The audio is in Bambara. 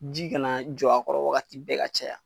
Ji ka na jɔ a kɔrɔ wagati bɛɛ ka caya.